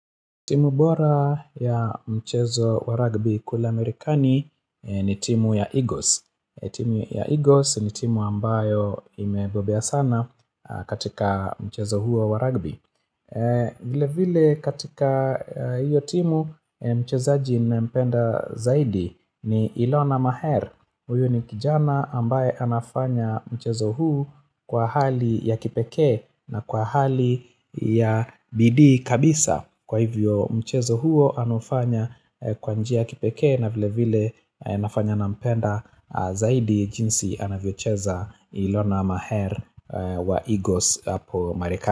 Timu bora ya mchezo wa rugby kule amerikani ni timu ya Eagles. Timu ya Eagles ni timu ambayo imebobea sana katika mchezo huo wa rugby Vilevile katika hiyo timu mchezaji nampenda zaidi ni Ilona Maher. Huyu ni kijana ambaye anafanya mchezo huu kwa hali ya kipekee na kwa hali ya bidii kabisa Kwa hivyo mchezo huo anaufanya kwa njia ya kipekee na vile vile inafanya nampenda zaidi jinsi anavyocheza ilona maher wa egos hapo marekani.